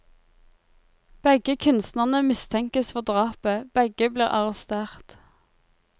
Begge kunstnerne mistenkes for drapet, begge blir arrestert.